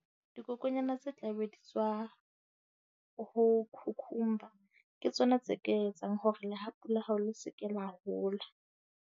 Dikokwanyana tse tla be di tswa ho ke tsona tse ka etsang hore lehapu la hao le se ke la hola.